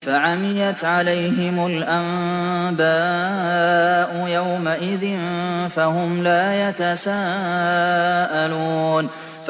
فَعَمِيَتْ عَلَيْهِمُ الْأَنبَاءُ يَوْمَئِذٍ فَهُمْ لَا يَتَسَاءَلُونَ